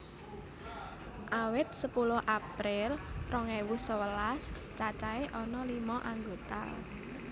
Awit sepuluh April rong ewu sewelas cacahé ana lima anggota